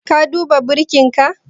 Ka duba birkinka?